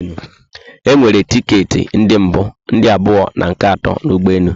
E nwere ticket ndi mbu, ndị abụọ and nke ato na ụgbọelu